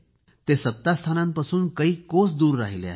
ते सत्तास्थानांपासून कैक कोस दूर राहिले आहेत